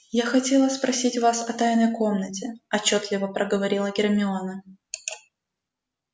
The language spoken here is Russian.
я хотела спросить вас о тайной комнате отчётливо проговорила гермиона